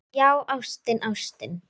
Já, ástin, ástin.